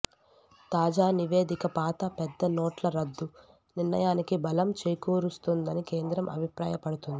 తాజా నివేదిక పాత పెద్ద నోట్ల రద్దు నిర్ణయానికి బలం చేకూరుస్తోందని కేంద్రం అభిప్రాయపడుతోంది